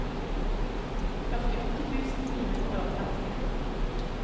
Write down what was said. førtiåtte tusen ni hundre og trettien